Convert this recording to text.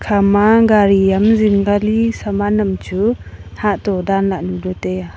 ama gari am zingka li saman am chu hah to danla le taiya.